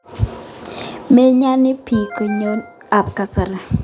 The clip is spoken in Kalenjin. Meyani piik kanyoik ap kasari